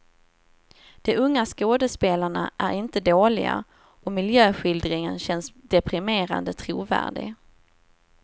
De unga skådespelarna är inte dåliga, och miljöskildringen känns deprimerande trovärdig.